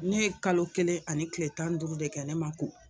Ne ye kalo kelen ani tile tan ni duuru de kɛ ne ma ko